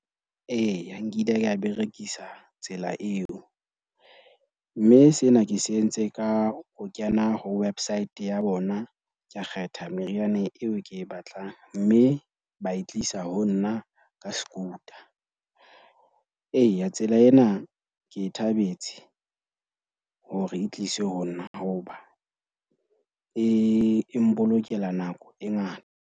Eya, nkile ka berekisa tsela eo, mme sena ke se entse ka ho kena ho website ya bona, ka kgetha meriana eo ke e batlang. Mme ba e tle isa ho nna ka scooter. Eya, tsela ena ke e thabetse hore e tliswe ho nna hoba e mpolokela nako e ngata.